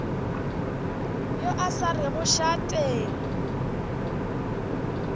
yo a sa rego šate